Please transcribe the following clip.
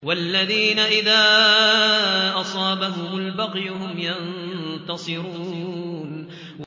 وَالَّذِينَ إِذَا أَصَابَهُمُ الْبَغْيُ هُمْ يَنتَصِرُونَ